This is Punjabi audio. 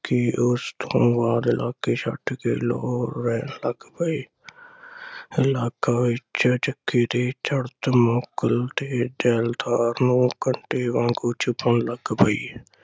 ਫਿਰ ਉਸ ਤੋਂ ਬਾਅਦ ਲੋਕੀ ਛੱਡ ਕੇ ਲਾਹੌਰ ਰਹਿਣ ਲੱਗ ਪਏ। ਇਲਾਕਾ ਵਿਚ ਜੱਗਾ ਦੇ ਚੜਤ ਨੂੰ ਜੈਲਦਾਰ ਨੂੰ ਕੱਟੇ ਵਾਂਗ ਉਹ ਚੁਭਣ ਲਗ ਪਈ।